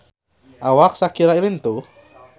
Awak Shakira lintuh